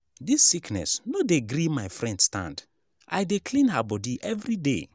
dis sickness no dey gree my friend stand i dey clean her bodi everyday.